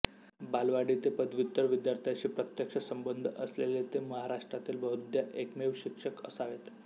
बालवाडी ते पदव्युत्तर विद्यार्थ्यांशी प्रत्यक्ष संबंध असलेले ते महाराष्ट्रातील बहुधा एकमेव शिक्षक असावेत